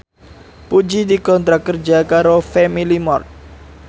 Puji dikontrak kerja karo Family Mart